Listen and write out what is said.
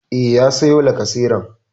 E, ya sayo lacaseran.